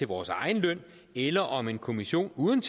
vores egen løn eller om en kommission uden